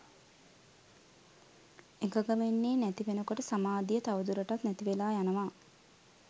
එකඟ වෙන්නෙ නැති වෙනකොට සමාධිය තවදුරටත් නැතිවෙලා යනවා